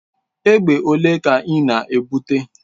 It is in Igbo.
Egbe ole ka ị na-ebute?